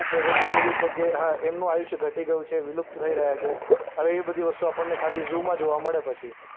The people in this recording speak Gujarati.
એવી છે કે હા એમનું આયુષ્ય ઘટી ગયું છે. વિલુપ્ત થઈ રહ્યા છે. અને એ બધી વસ્તુ આપણને ખાલી ઝૂમાં મળે પછી.